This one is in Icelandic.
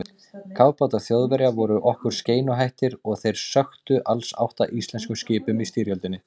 Kafbátar Þjóðverja voru okkur skeinuhættir og þeir sökktu alls átta íslenskum skipum í styrjöldinni.